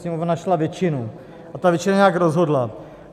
Sněmovna našla většinu a ta většina nějak rozhodla.